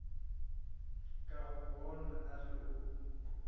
ka gobane a re o